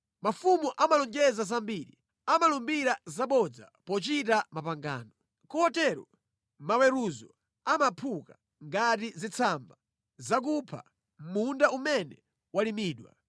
Mafumu amalonjeza zambiri, amalumbira zabodza pochita mapangano. Kotero maweruzo amaphuka ngati zitsamba zakupha mʼmunda umene walimidwa.